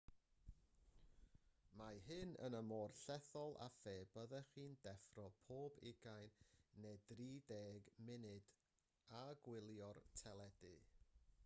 mae hyn yr un mor llethol â phe byddech chi'n deffro pob ugain neu drideg munud a gwylio'r teledu